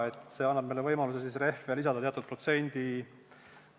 See lihtsalt annab meile võimaluse rehve lisada teatud protsendi ulatuses.